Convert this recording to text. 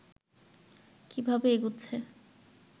কিভাবে এগুচ্ছে